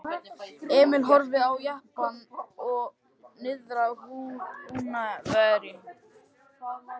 Emil horfði á eftir jeppanum og svo niðrað Húnaveri.